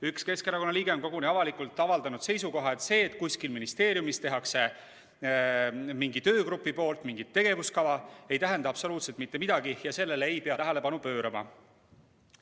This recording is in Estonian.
Üks Keskerakonna liige on koguni avalikult avaldanud seisukoha, et see, kui kuskil ministeeriumis mingi töögrupp koostab mingi tegevuskava, ei tähenda absoluutselt mitte midagi ja sellele ei pea tähelepanu pöörama.